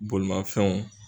Bolimanfɛnw